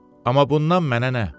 Amma bundan mənə nə?